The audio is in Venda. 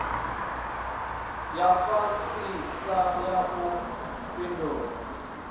ya fhasisa ya u fhindula